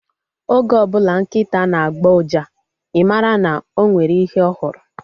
Oge ọbụla nkịta na-agbọ uja, I mara na o nwere ihe ọ hụrụ